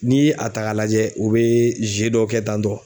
N'i ye a ta k'a lajɛ u bɛ dɔ kɛ tan tɔ.